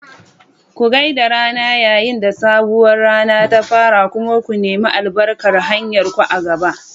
Ku gai da rana yayin da sabuwar rana ta fara kuma ku nemi albarkar hanyarku a gaba.